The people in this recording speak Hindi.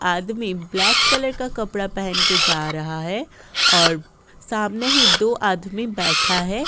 आदमी ब्लैक कलर का कपड़ा पहन के जा रहा है और सामने ही दो आदमी बैठा हैं।